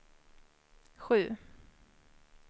sju